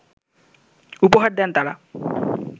উপহার দেন তারা